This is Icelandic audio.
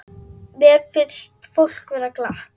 Mér fannst fólk vera glatt.